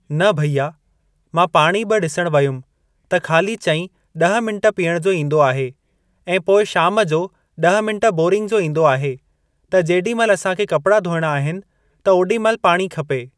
न भैया मां पाणी बि ॾिसण वयुमि त खाली चईं ॾह मिंट पीअणु जो ईंदो आहे ऐं पोइ शाम जो ॾह मिंट बोरिंग जो ईंदो आहे त जेॾी महिल असांखे कपड़ा धोइणा आहिनि त ओॾी महिल पाणी खपे।